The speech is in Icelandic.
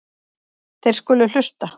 Þeir skulu hlusta.